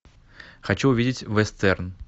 хочу увидеть вестерн